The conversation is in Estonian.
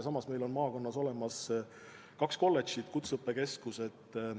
Samas meil on maakonnas olemas kaks kolledžit, kutseõppekeskused.